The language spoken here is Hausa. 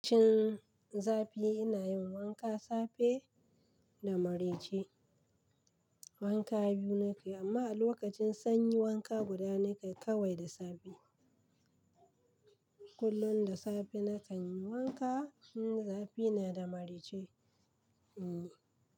Lokacin zafi ina yin wanka safe da marece. Wanka biyu nake, amma a lokacin sanyi wanka guda nake kawai da safe. Kullun da safe na kan yi wanka. In zafi na da marece, hmm.